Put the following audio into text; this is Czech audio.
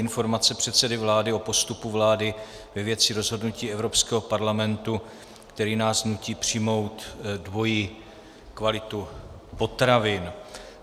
Informace předsedy vlády o postupu vlády ve věci rozhodnutí Evropského parlamentu, který nás nutí přijmout dvojí kvalitu potravin